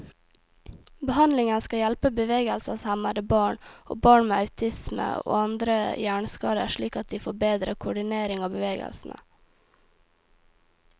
Behandlingen skal hjelpe bevegelseshemmede barn, og barn med autisme og andre hjerneskader slik at de får bedre koordinering av bevegelsene.